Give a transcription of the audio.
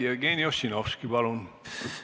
Jevgeni Ossinovski, palun!